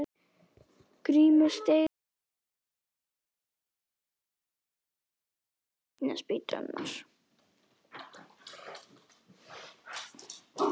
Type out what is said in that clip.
Grímur steig á enda einnar spýtunnar.